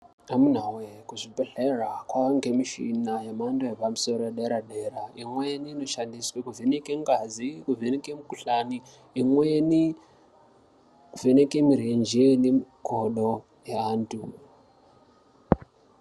Amunawe kuzvibhehlera kwange muchina yemhando yepamusoro yepadera dera imweni inoshandiswe kuvheneke ngazi kuvheneke mukuhlani imweni kuvheneke murenje nemukodo antu.